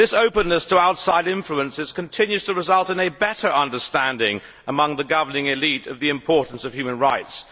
This openness to outside influences continues to result in a better understanding among the governing élite of the importance of human rights.